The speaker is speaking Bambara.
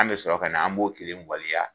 An bɛ sɔrɔ ka na, an b'o kelen waleya.